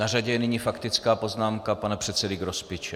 Na řadě je nyní faktická poznámka pana předsedy Grospiče.